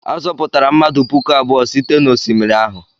A zọpụtaghị mmadụ puku abụọ site n'osimiri ahụ.